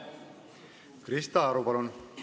Krista Aru, palun!